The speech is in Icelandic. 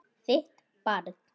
Þitt barn.